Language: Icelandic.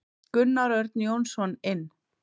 Gunnar Örn Jónsson inn.